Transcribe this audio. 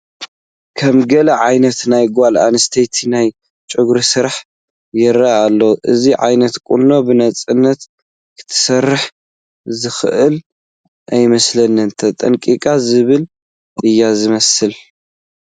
ከምገለ ዓይነት ናይ ጓል ኣነስተይቲ ናይ ጨጉሪ ስራሕ ይርአ ኣሎ፡፡ እዚ ዓይነት ቁኖ ብነፃነት ክትሰርሕ ዘኽእል ኣይመስልን፡፡ ተጠንቀቐኒ ዝብል እዩ ዝመስል፡፡